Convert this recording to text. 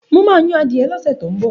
Mo ma yan adìẹ lọ́sẹ̀ tó ń bọ̀